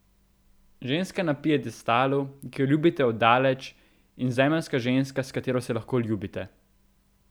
Ženska na piedestalu, ki jo ljubite od daleč, in zemeljska ženska, s katero se lahko ljubite.